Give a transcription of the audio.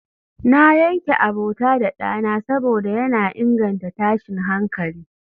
na yanke abota da dana saboda yana inganta tashin hankali